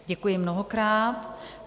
Děkuji mnohokrát.